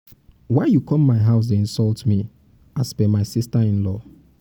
why you come my house dey insult me as per my sister in-law.